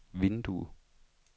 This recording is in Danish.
vindue